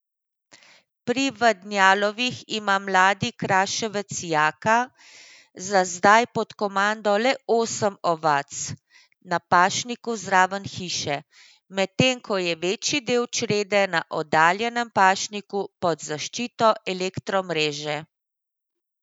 Pri Vadnjalovih ima mladi kraševec Jaka za zdaj pod komando le osem ovac na pašniku zraven hiše, medtem ko je večji del črede na oddaljenem pašniku pod zaščito elektromreže.